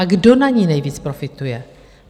A kdo na ní nejvíc profituje?